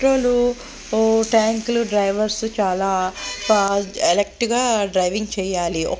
Tank లడ్రైవర్స్ చాలా alert గా డ్రైవింగ్ చేయాలి.